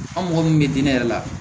An mɔgɔ min bɛ diinɛ yɛrɛ la